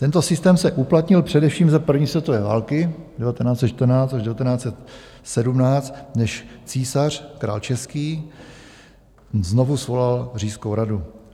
Tento systém se uplatnil především za první světové války 1914 až 1917, než císař, král český, znovu svolal říšskou radu.